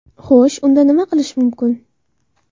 Xo‘sh, unda nima qilish mumkin?